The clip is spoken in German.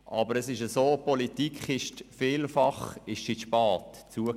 Aber es ist so, dass die Politik zugegebenermassen vielfach zu spät ist.